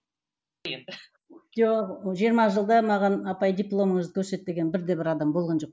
жоқ жиырма жылда маған апай дипломыңызды көрсет деген бірде бір адам болған жоқ